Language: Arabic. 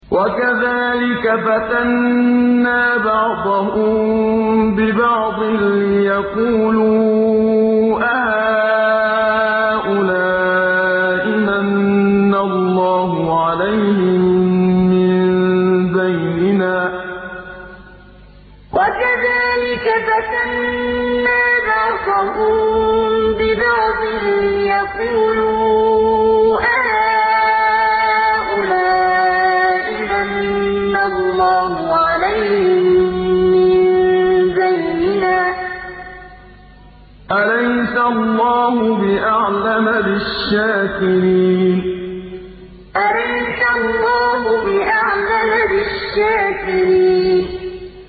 وَكَذَٰلِكَ فَتَنَّا بَعْضَهُم بِبَعْضٍ لِّيَقُولُوا أَهَٰؤُلَاءِ مَنَّ اللَّهُ عَلَيْهِم مِّن بَيْنِنَا ۗ أَلَيْسَ اللَّهُ بِأَعْلَمَ بِالشَّاكِرِينَ وَكَذَٰلِكَ فَتَنَّا بَعْضَهُم بِبَعْضٍ لِّيَقُولُوا أَهَٰؤُلَاءِ مَنَّ اللَّهُ عَلَيْهِم مِّن بَيْنِنَا ۗ أَلَيْسَ اللَّهُ بِأَعْلَمَ بِالشَّاكِرِينَ